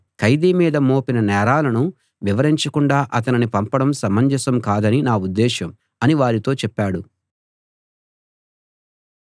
ఖైదీ మీద మోపిన నేరాలను వివరించకుండా అతనిని పంపడం సమంజసం కాదని నా ఉద్దేశం అని వారితో చెప్పాడు